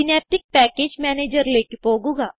synaptic package Managerലേക്ക് പോകുക